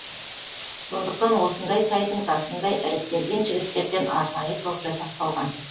сондықтан осындай сайдың тасындай іріктелген жігіттерден арнайы топ жасақталған